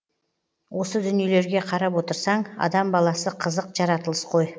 осы дүниелерге қарап отырсаң адам баласы қызық жаратылыс қой